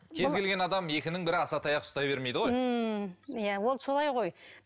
кез келген адам екінің бірі асатаяқ ұстай бермейді ғой ммм иә ол солай ғой